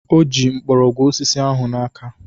O ji mgbọrọgwụ osisi ahụ n'aka